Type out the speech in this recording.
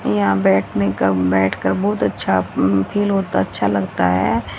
यहां बैठने का बैठकर बहुत अच्छा फील होता अच्छा लगता है।